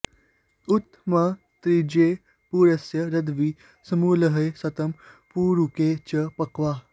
उ॒त म॑ ऋ॒ज्रे पुर॑यस्य र॒घ्वी सु॑मी॒ळ्हे श॒तं पे॑रु॒के च॑ प॒क्वा